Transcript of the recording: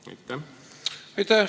Aitäh!